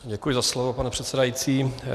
Děkuji za slovo, pane předsedající.